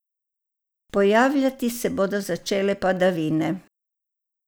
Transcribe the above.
Pojavljati se bodo začele padavine.